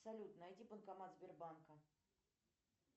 салют найди банкомат сбербанка